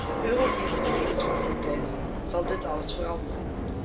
De Europese vredesfaciliteit zal dit alles veranderen.